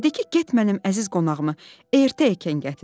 Dedi ki, get mənim əziz qonağımı ertə ikən gətir.